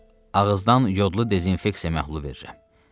Ağızdan yodlu dezinfeksiya məhlulu verilir.